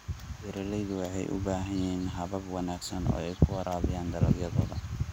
Beeraleydu waxay u baahan yihiin habab wanaagsan oo ay ku waraabiyaan dalagyadooda.